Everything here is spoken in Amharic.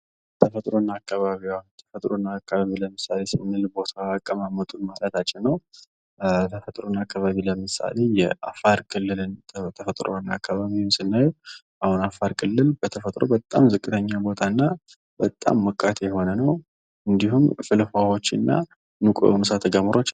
ተፈጥሮና አካባቢዋ ለምሳሌ ሥነ ቦታና አቀማመጡን ማለታችን ነው። ተፈጥሮና አካባቢ ለምሳሌ የአፋር ክልልን ተፈጥሮን አካባቢውን ስናየው አሁን አፋር ክልል በተፈጥሮ በጣም ዝቅተኛ ቦታ እና በጣም ሞቃት የሆነ ነው። እንዲሁም ፍል ውሃዎች እና ሙቅ ሳተጎመራዎች .